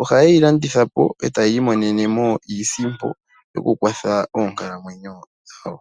Ohaye yi landitha po, e ta yiimonene mo iisimpo yawo okukwatha oonkalamwenyo dhawo.